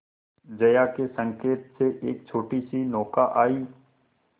जया के संकेत से एक छोटीसी नौका आई